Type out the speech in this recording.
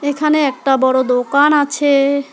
এখানে একটা বড় দোকান আছে।